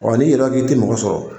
Wa n'i yɛrɛ k'i te mɔgɔ sɔrɔ